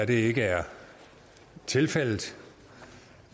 det ikke er tilfældet